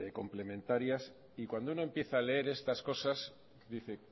complementarias y cuando uno empieza a leer estas cosas dice